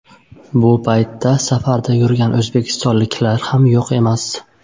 Bu paytda safarda yurgan o‘zbekistonliklar ham yo‘q emas.